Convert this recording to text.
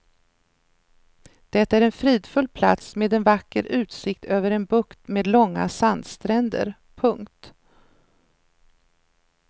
Det är en fridfull plats med en vacker utsikt över en bukt med långa sandstränder. punkt